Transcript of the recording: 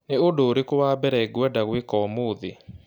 Nĩ ũndũ ũrĩkũ wa mbere ngwenda gwĩka ũmũthĩ?